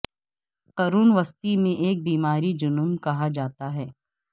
قرون وسطی میں ایک بیماری جنون کہا جاتا ہے